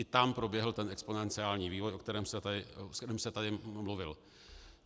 I tam proběhl ten exponenciální vývoj, o kterém jsem tady mluvil.